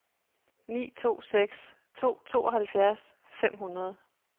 ni to seks to tooghalvfjerds fem hundrede